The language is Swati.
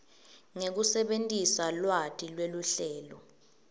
ngekusebentisa lwati lweluhlelo